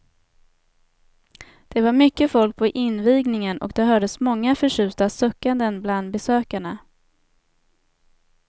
Det var mycket folk på invigningen och det hördes många förtjusta suckanden bland besökarna.